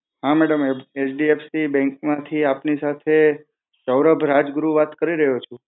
હા ma'am HDFC bank માંથી આપની સાથે સૌરભ રાજગુરુ વાત કરી રહ્યોં છું